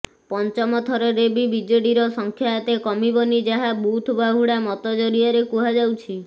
ପଞ୍ଚମ ଥରରେ ବି ବିେଜଡିର ସଂଖ୍ୟା ଏତେ କମିବନି ଯାହା ବୁଥବାହୁଡା ମତ ଜରିଆରେ କୁହାଯାଉଛି